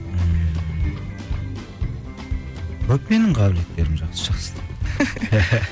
ммм көп менің қабілеттерім жақсы жақсы